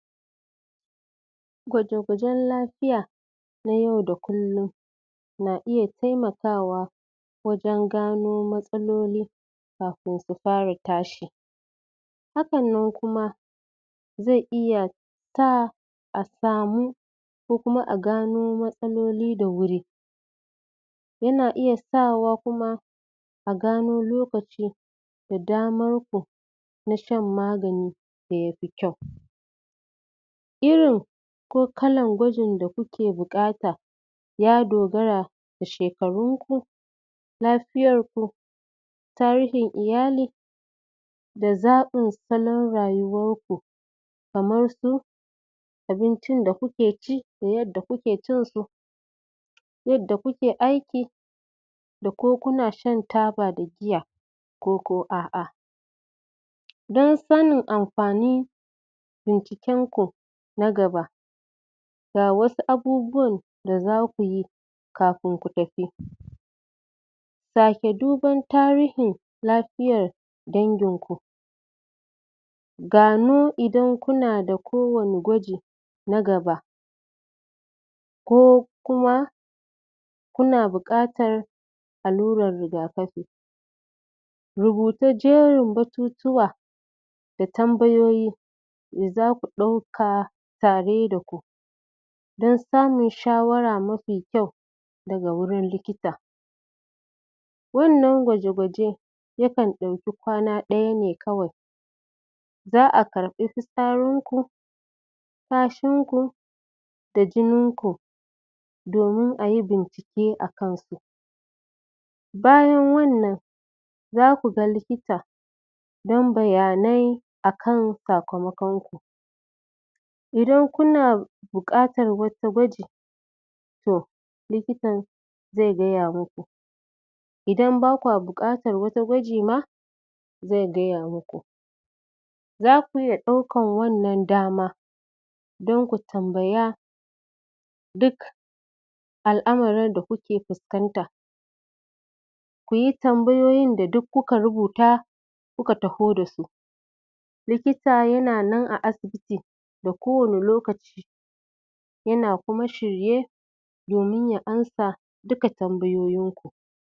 Gwaje-gwajen lafiya na yau da kullum na iya taimakawa wajen gano matsaloli kafin su fara tashi hakan nan kuma zai iya sa a samu ko kuma a gano matsaloli da wuri yana isa sa wa kuma a gano lokaci a damarku na shan magani da ya fi kyau irin ko kalan gwajin da kuke buƙata ya dogara da shekarunku lafiyarku tarihin iyali da zaɓin salon rayuwanku kamar su abincin da kuke ci da yadda kuke cin su yadda kuke aiki da ko kuna shan taba da giya ko ko a'a don sanin amfanin binciken ku na gaba ga wasu abubuwan da zaku yi kafin ku tafi sake duban tarihin lafiyar danginku gano idan kuna da ko wani gwaji na gaba ko kuma kuna buƙatar allurar riga-kafi rubuta jerin batutuwa da tambayoyi da zaku ɗauka tare da ku don samun shawara mafi kyau daga wurin likita wannan gwaje-gwaje yakan ɗauki kwana ɗaya ne kawai za a karɓi fitsarinku kashinku da jininku domin ayi bincike a kan su bayan wannan zaku ga likita don bayanai akan sakamakon ku idan buƙatar wata gwaji to likitan zai gaya muku idan ba kya buƙatar wata gwaji ma zai gaya muku zaku iya ɗaukan wannan dama don tu tambaya duk al'amarin da kuke fuskanta kuyi tambayoyin da duk kuka rubuta kuka taho da su likita yana nan a asibiti d ko wani lokaci yana kuma shirye domin ya amsa dukka tambayoyin ku